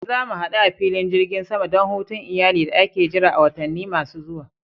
Eh, za mu hadu a filin jirgin sama don hutun iyali da ake jira a watanni masu zuwa.